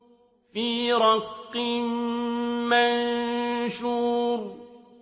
فِي رَقٍّ مَّنشُورٍ